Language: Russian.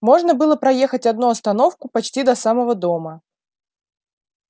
можно было проехать одну остановку почти до самого дома